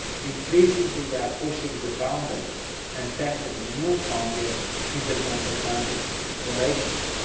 Increasingly, we are pushing the boundaries and tackling new frontiers in the transatlantic relationship.